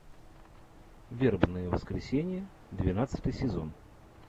вербное воскресенье двенадцатый сезон